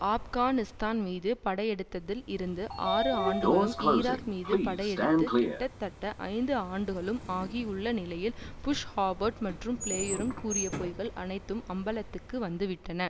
ஆப்கானிஸ்தான் மீது படையெடுத்ததில் இருந்து ஆறு ஆண்டுகளும் ஈராக்மீது படையெடுத்து கிட்டத்தட்ட ஐந்து ஆண்டுகளும் ஆகியுள்ள நிலையில் புஷ் ஹோவர்ட் மற்றும் பிளேயரும் கூறிய பொய்கள் அனைத்தும் அம்பலத்துக்கு வந்துவிட்டன